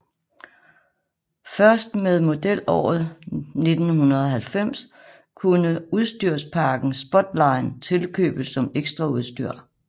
Først med modelåret 1990 kunne udstyrspakken Sportline tilkøbes som ekstraudstyr